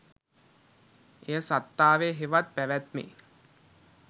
එය සත්තාවේ හෙවත් පැවැත්මේ